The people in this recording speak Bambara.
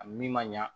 A min man ɲa